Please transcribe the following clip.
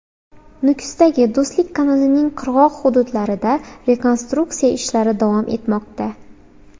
Nukusdagi Do‘stlik kanalining qirg‘oq hududlarida rekonstruksiya ishlari davom etmoqda.